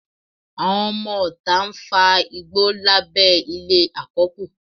Àwọn ọmọọta ń fa igbó lábẹ́ ilé àkọ́kù